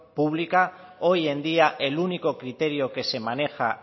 pública hoy en día el único criterio que se maneja